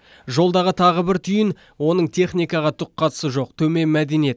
жолдағы тағы бір түйін оның техникаға түк қатысы жоқ төмен мәдениет